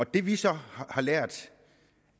det vi så har lært